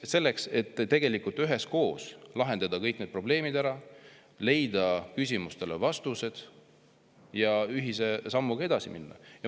Selleks, et üheskoos lahendada ära kõik need probleemid, leida küsimustele vastused ja ühise sammuga edasi minna.